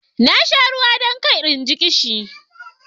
Na sha ruwa don kar in ji ƙishi.